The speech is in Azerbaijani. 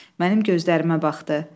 Mənim gözlərimə baxdı.